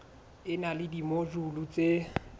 e na le dimojule tse